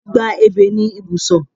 Igba ebè ni ibùsọ